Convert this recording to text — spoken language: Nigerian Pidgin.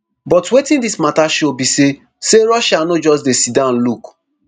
but wetin dis mata show be say say russia no just dey siddon look